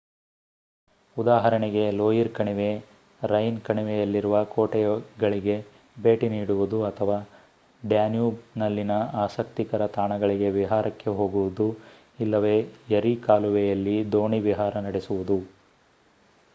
ಉದಾಹರಣೆಗೆ ಲೋಯಿರ್ ಕಣಿವೆ ರೈನ್ ಕಣಿವೆಯಲ್ಲಿರುವ ಕೋಟೆಗಳಿಗೆ ಭೇಟಿ ನೀಡುವುದು ಅಥವಾ ಡ್ಯಾನ್ಯೂಬ್‌ನಲ್ಲಿನ ಆಸಕ್ತಿಕರ ತಾಣಗಳಿಗೆ ವಿಹಾರಕ್ಕೆ ಹೋಗುವುದು ಇಲ್ಲವೇ ಎರಿ ಕಾಲುವೆಯಲ್ಲಿ ದೋಣಿ ವಿಹಾರ ನಡೆಸುವುದು